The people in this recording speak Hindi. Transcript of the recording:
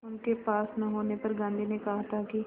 उनके पास न होने पर गांधी ने कहा था कि